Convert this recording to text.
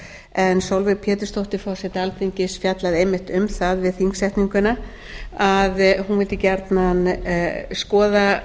en sólveig pétursdóttir forseti alþingis fjallaði einmitt um það við þingsetninguna að hún vildi gjarnan skoða